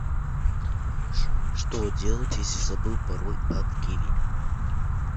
что делать если забыл пароль от киви